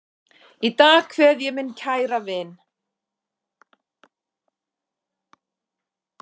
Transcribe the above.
Í dag kveð ég minn kæra vin.